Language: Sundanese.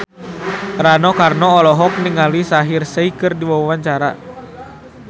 Rano Karno olohok ningali Shaheer Sheikh keur diwawancara